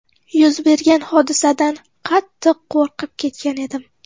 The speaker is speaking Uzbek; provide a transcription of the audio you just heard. Yuz bergan hodisadan qattiq qo‘rqib ketgan edim.